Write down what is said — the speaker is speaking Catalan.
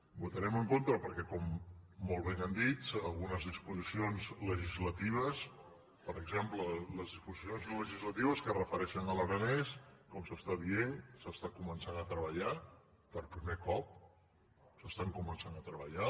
votarem en contra perquè molt bé han dit algunes disposicions legislatives per exemple les disposicions legislatives que es refereixen a l’aranès com s’està dient s’està començant a treballar per primer cop s’estan començant a treballar